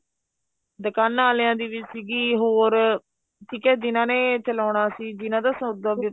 ਦੁਕਾਨਾ ਵਾਲਿਆ ਦੀ ਵੀ ਸੀਗੀ ਹੋਰ ਠੀਕ ਏ ਜਿਹਨਾ ਨੇ ਚਲਾਉਣਾ ਸੀ ਜਿਹਨਾ ਦਾ ਸੋਦਾ